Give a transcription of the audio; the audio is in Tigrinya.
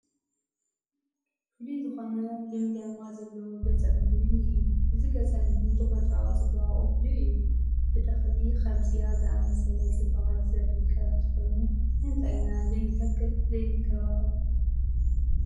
ፍሉይ ዝኾነ ልምላመ ዘለዎ ገፀ ምድሪ እኒሀ፡፡ እዚ ገፀ ምድሪ ተፈጥሯዊ ፅባቕኡ ፍሉይ እዩ፡፡ ብተኽሊ ከምዚ ዝኣምሰለ ፅባቐ ዝርከብ እንተኾይኑ ንምንታይ ኢና ዘይንተክልን ዘይንንከባኸብን?